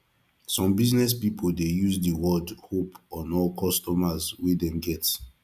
some business pipo de use di word hope on old customers wey dem get